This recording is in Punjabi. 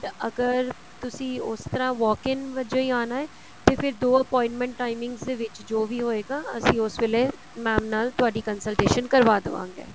ਅਗਰ ਤੁਸੀਂ ਉਸ ਤਰ੍ਹਾਂ wok ins ਵਜੋ ਹੀ ਆਣਾ ਹੈ ਤੇ ਫਿਰ ਦੋ appointment timings ਦੇ ਵਿੱਚ ਜੋ ਵੀ ਹੋਏਗਾ ਅਸੀਂ ਉਸ ਵੇਲੇ mam ਨਾਲ ਤੁਹਾਡੀ consultation ਕਰਵਾ ਦਵਾਂਗੇ